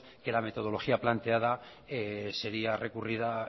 que la metodología planteada sería recurrida